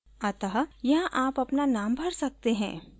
अतः यहाँ आप अपना नाम भर सकते हैं